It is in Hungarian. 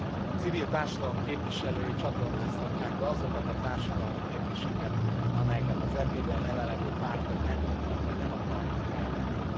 A civil társadalom képviselői csatornázhatják be azokat a társadalmi kérdéseket, amelyeket az EP ben jelen lévő pártok nem tudnak vagy nem akarnak felvetni.